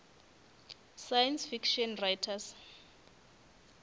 science fiction writers